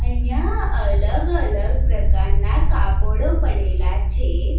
અહીંયા અલગ-અલગ પ્રકારના કાપડો પડેલા છે.